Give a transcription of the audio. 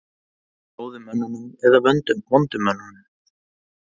Góðu mönnunum eða vondu mönnunum?